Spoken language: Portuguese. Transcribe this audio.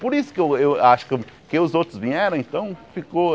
Por isso que eu eu acho que os outros vieram, então ficou.